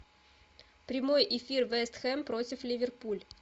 прямой эфир вест хэм против ливерпуль